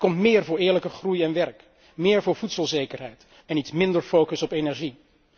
Er komt meer voor eerlijke groei en werk, meer voor voedselzekerheid en er komt iets minder focus op energie.